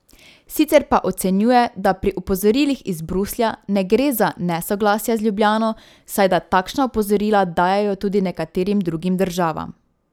Sicer pa ocenjuje, da pri opozorilih iz Bruslja ne gre za nesoglasja z Ljubljano, saj da takšna opozorila dajejo tudi nekaterim drugim državam.